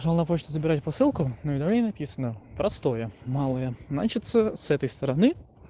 пошёл на почту забирать посылку на уведомлении написано простое малое значит с этой стороны